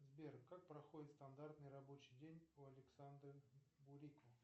сбер как проходит стандартный рабочий день у александра бурико